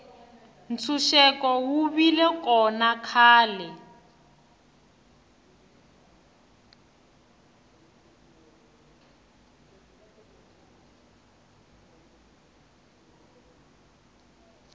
ntshuxeko wu vile kona khale